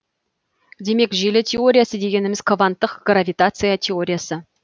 демек желі теориясы дегеніміз кванттық гравитация теориясы